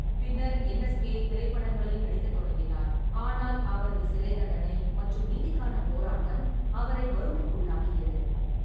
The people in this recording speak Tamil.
பின்னர், என். எஸ். கே. திரைப்படங்களில் நடிக்கத் தொடங்கினார், ஆனால் அவரது சிறை தண்டனை மற்றும் நீதிக்கானப் போராட்டம் அவரை வறுமைக்குள்ளாக்கியது.